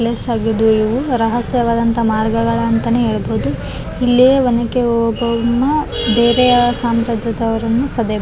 ಕೈಗೆ ಕೆಂಪು ದಾರವನ್ನು ಕಟ್ಟಿದ್ದಾನೆ ಮತ್ತು ಉಂಗುರ ಹಾಕಿದ್ದಾನೆ.